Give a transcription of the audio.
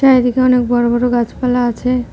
এদিকে অনেক বড় বড় গাছপালা আছে।